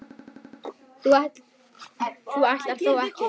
þú ætlar þó ekki.